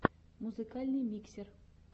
музыкальный миксер